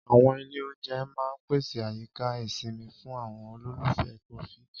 Àwọn ilé-oúnjẹ máa ń pèsè àyíká ìsinmi fún àwọn olólùfẹ́ kọfí.